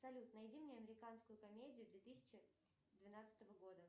салют найди мне американскую комедию две тысячи двенадцатого года